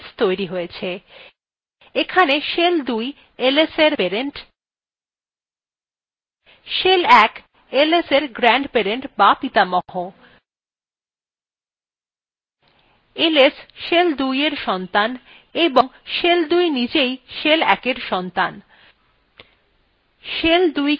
এখানে shell ২ lsএর parent shell ১ lsএর grandparent বা পিতামহ ls shell ২এর সন্তান এবং shell ২ নিজেই shell ১এর সন্তান